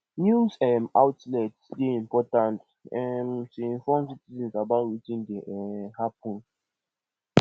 news um outlets dey important um to inform citizens about wetin dey um happen